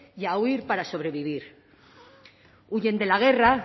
y a huir para sobrevivir huyen de la guerra